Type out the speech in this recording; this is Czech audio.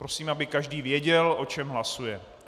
Prosím, aby každý věděl, o čem hlasuje.